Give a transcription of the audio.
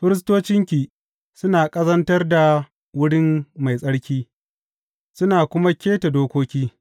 Firistocinki suna ƙazantar da Wurin Mai Tsarki suna kuma keta dokoki.